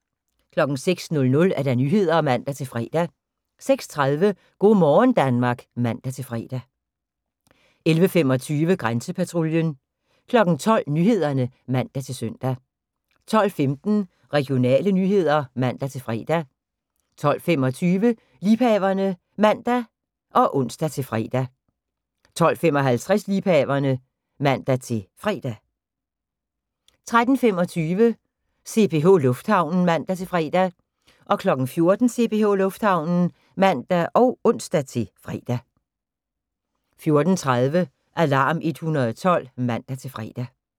06:00: Nyhederne (man-fre) 06:30: Go' morgen Danmark (man-fre) 11:25: Grænsepatruljen 12:00: Nyhederne (man-søn) 12:15: Regionale nyheder (man-fre) 12:25: Liebhaverne (man og ons-fre) 12:55: Liebhaverne (man-fre) 13:25: CPH Lufthavnen (man-fre) 14:00: CPH Lufthavnen (man og ons-fre) 14:30: Alarm 112 (man-fre)